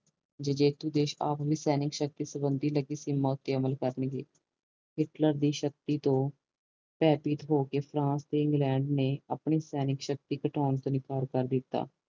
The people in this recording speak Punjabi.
ਜੇਤੂ ਦੇਸ਼ ਆਪਣੀ ਸੈਨਿਕ ਸ਼ਕਤੀ ਸਬੰਦੀ ਸੀਮਾ ਤੇ ਅਮਲ ਕਰਨਗੇ ਸਿਪਲਾ ਦੀ ਸ਼ਕਤੀ ਤੋਂ ਹੋਕੇ ਫਰਾਂਸ ਤੇ ਇੰਗਲੈਂਡ ਨੇ ਆਪਣੀ ਸੈਨਿਕ ਸ਼ਕਤੀ ਘਟਾਉਣ ਤੋਂ ਇਨਕਾਰ ਕਰ ਦਿਤਾ